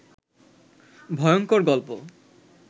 ভয়ংকর গল্প